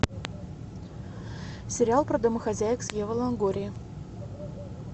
сериал про домохозяек с евой лонгорией